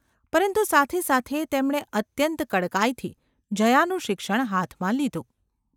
પરંતુ સાથે સાથે તેમણે અત્યંત કડકાઈથી જયાનું શિક્ષણ ​ હાથમાં લીધું.